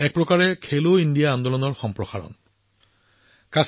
এক প্ৰকাৰে এয়াও খেলো ইণ্ডিয়া আন্দোলনৰ এক সম্প্ৰসাৰণ হিচাপে বিবেচিত হৈছে